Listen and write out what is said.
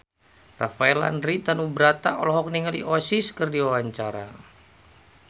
Rafael Landry Tanubrata olohok ningali Oasis keur diwawancara